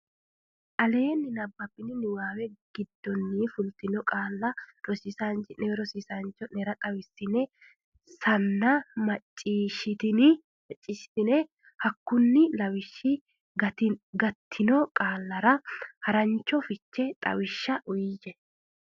aleenni nabbabbini niwaawe giddonni fultino qaalla rosiisaanchi ne cho ne xawisanna ssanna macciishshitine hakkunni lawishshi gattino qaallara harancho fichete xawishsha uyiyye.